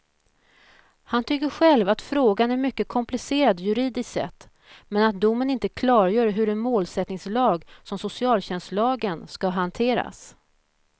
Han tycker själv att frågan är mycket komplicerad juridiskt sett, men att domen inte klargör hur en målsättningslag som socialtjänstlagen ska hanteras.